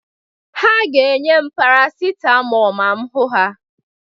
Ha ga-enye m parasitamọl ma m hụ ha.